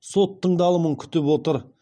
сот тыңдалымын күтіп отыр